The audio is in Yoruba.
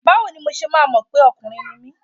Báwo ni mo ṣe máa mọ̀ pé ọkùnrin ni mí?